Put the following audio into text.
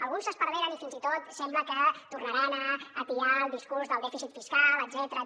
alguns s’esparveren i fins i tot sembla que tornaran a atiar el discurs del dèficit fiscal etcètera